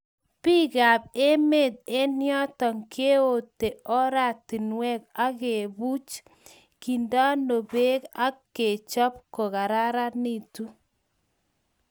bikap emet eng yoto keote oratinwek agebuuch, kendeno beek ak kechop kogararanitu